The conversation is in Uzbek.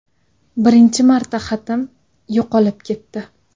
Birinchi marta xatim yo‘qolib ketdi.